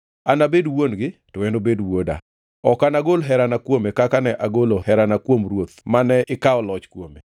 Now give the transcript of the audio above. Anabed wuon-gi, to enobed wuoda. Ok nagol herana kuome kaka ne agolo herana kuom ruoth mane ikawo loch kuome.